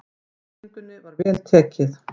Sýningunni var vel tekið.